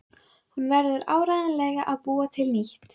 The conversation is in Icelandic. Hún verður áreiðanlega að búa til nýtt.